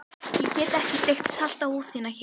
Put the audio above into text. Ég get ekki sleikt salta húð þína hér.